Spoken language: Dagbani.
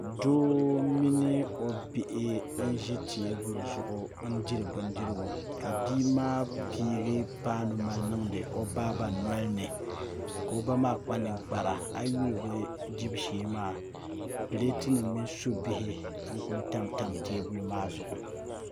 Doo mini o bihi n ʒi teebuli zuɣu n diri bindirigu ka bia maa pii paanu n niŋdi o baaba nolini ka o ba maa kpa ninkpara a yi yuli bi dibu shee maa pileet nim mini subihi n ku tamtam teebuli maa zuɣu